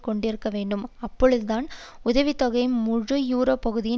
கொண்டிருக்க வேண்டும் அப்பொழுதுதான் உதவி தொகை முழு யூரோப் பகுதியின்